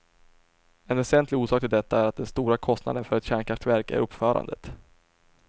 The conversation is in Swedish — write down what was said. En väsentlig orsak till detta är att den stora kostnaden för ett kärnkraftverk är uppförandet.